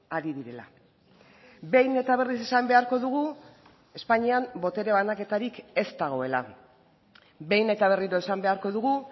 ari direla behin eta berriz esan beharko dugu espainian botere banaketarik ez dagoela behin eta berriro esan beharko dugu